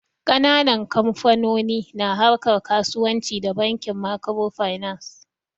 Ƙananan kamfanoni na harkar kasuwanci da Bankin Makirofainans.